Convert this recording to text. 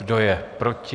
Kdo je proti?